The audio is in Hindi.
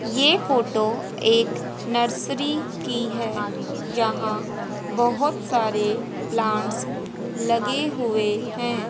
ये फोटो एक नर्सरी की है यहां बहुत सारे प्लांट्स लगे हुए हैं।